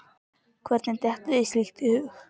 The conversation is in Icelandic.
Hvernig dettur þér slíkt í hug?